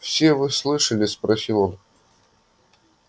все вы слышали спросил он